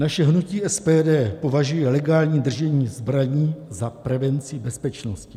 Naše hnutí SPD považuje legální držení zbraní za prevenci bezpečnosti.